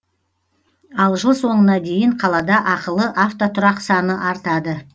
ал жыл соңына дейін қалада ақылы автотұрақ саны артады